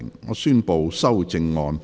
我宣布修正案獲得通過。